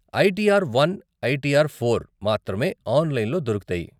ITR one , ITR four మాత్రమే ఆన్లైన్లో దొరుకుతాయి.